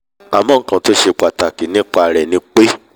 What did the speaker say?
àmọ́ nkan tó ṣe pàtàkì jùlọ nípa rẹ̀ ni pé